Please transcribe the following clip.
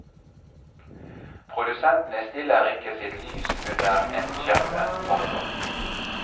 Produsentene stiller ikke sitt lys under en skjeppe. punktum